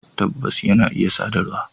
Tabbas, yana iya sadarwa